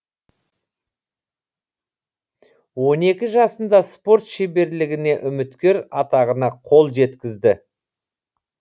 он екі жасында спорт шеберлігіне үміткер атағына қол жеткізді